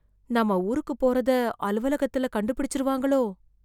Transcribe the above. நாம ஊருக்கு போறத, அலுவலகத்துல கண்டுபிடிச்சிடுவாங்களோ...